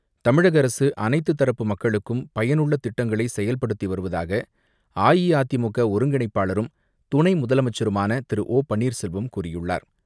தமிழக அரசு அனைத்து தரப்பு மக்களுக்கும் பயனுள்ள திட்டங்களை செயல்படுத்தி வருவதாக அஇஅதிமுக ஒருங்கிணைப்பாளரும், துணை முதலமைச்சருமான திரு ஓ பன்னீர்செல்வம் கூறியுள்ளார்.